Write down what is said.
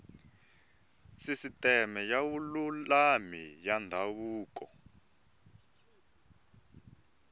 sisiteme ya vululami ya ndhavuko